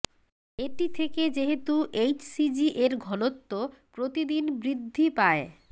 এটি থেকে যেহেতু এইচসিজি এর ঘনত্ব প্রতিদিন বৃদ্ধি পায়